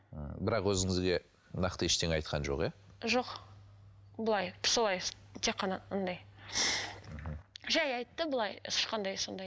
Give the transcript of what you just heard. ммм бірақ өзіңізге нақты ештеңе айтқан жоқ иә жоқ былай солай тек қана андай мхм жай айтты былай ешқандай сондай